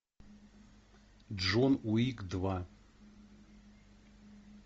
джон уик два